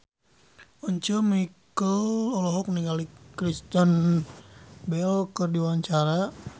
Once Mekel olohok ningali Kristen Bell keur diwawancara